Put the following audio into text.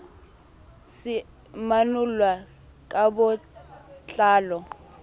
se manollwa ka bo tlalo